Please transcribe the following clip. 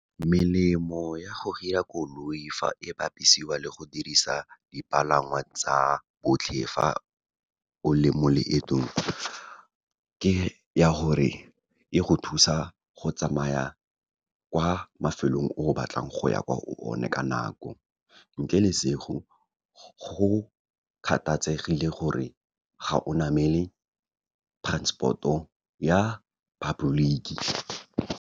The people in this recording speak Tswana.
Melemo ya go hira koloi fa e bapisiwa le go dirisa dipalangwa tsa botlhe le fa o le mo leetong ke ya gore, e go thusa go tsamaya kwa mafelong o batlang go ya kwa o ne ka nako. Ntle le , go kgathatsegile gore, ga o namele transport-o ya public-ki.